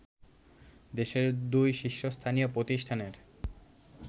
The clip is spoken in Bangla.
দেশের দুই শীর্ষস্থানীয় প্রতিষ্ঠানের